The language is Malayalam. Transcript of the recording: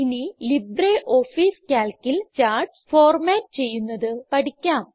ഇനി ലിബ്രിയോഫീസ് Calcൽ ചാർട്ട്സ് ഫോർമാറ്റ് ചെയ്യുന്നത് പഠിക്കാം